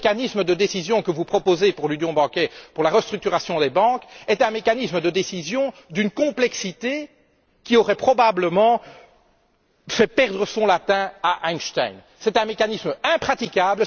Et le mécanisme de décision que vous proposez pour l'union bancaire pour la restructuration des banques, est un mécanisme de décision d'une complexité qui aurait probablement fait perdre son latin à Einstein. C'est un mécanisme impraticable.